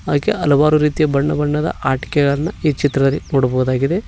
ಹಾಗೆ ಹಲವಾರು ರೀತಿಯ ಬಣ್ಣ ಬಣ್ಣದ ಆಟಿಕೆಗಳನ್ನು ಈ ಚಿತ್ರದಲ್ಲಿ ನೋಡಬಹುದಾಗಿದೆ.